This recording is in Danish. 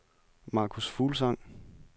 Marcus Fuglsang